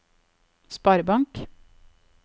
sparebank